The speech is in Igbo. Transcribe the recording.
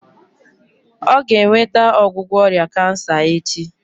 Ọ ga-enweta ọgwụgwọ ọrịa kansa echi